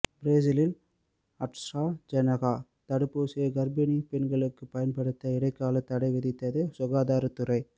பிரேசிலில் AstraZeneca தடுப்பூசியை கர்ப்பிணி பெண்களுக்கு பயன்படுத்த இடைக்கால தடை விதித்தது சகாதாரத்துறை